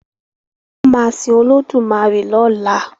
wón má sin Olódùmarè lọla.